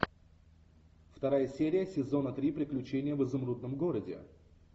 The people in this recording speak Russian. вторая серия сезона три приключения в изумрудном городе